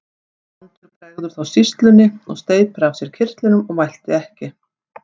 Brandur bregður þá sýslunni og steypir af sér kyrtlinum og mælti ekki.